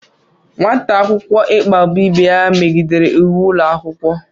Nwata akwụkwọ ikpagbu ibe ya megidere íwú ụlọ akwụkwọ